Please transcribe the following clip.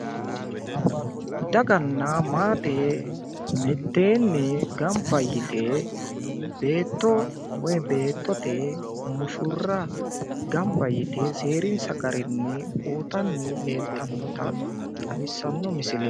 Daganna maate mitteenni gamba yite beetto woyi beettote mushurra gamba yite seerinsa garinni uyitanni leeltannota xawissanno misileeti.